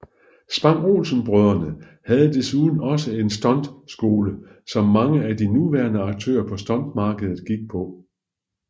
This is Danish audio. Spang Olsen brødrene havde desuden også en stunt skole som mange af de nuværende aktører på stuntmarkedet gik på